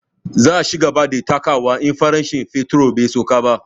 Za a cigaba da takawa in farashin fetur bai sauka ba